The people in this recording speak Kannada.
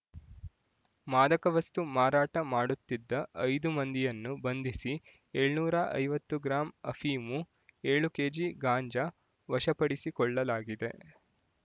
ಮಾದಕವಸ್ತು ಮಾರಾಟ ಮಾಡುತ್ತಿದ್ದ ಐದು ಮಂದಿಯನ್ನು ಬಂಧಿಸಿ ಏಳುನೂರ ಐವತ್ತ ಗ್ರಾಂ ಅಫೀಮು ಏಳು ಕೆಜಿ ಗಾಂಜಾ ವಶಪಡಿಸಿಕೊಳ್ಳಲಾಗಿದೆ